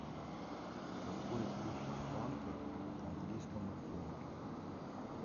какой курс франка к английскому фунту